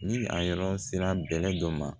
Ni a yɔrɔ sera bɛlɛ dɔ ma